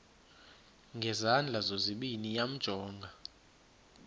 ngezandla zozibini yamjonga